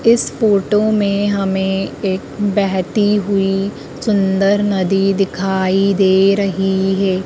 इस फोटो में हमें एक बहती हुई सुंदर नदी दिखाई दे रही है।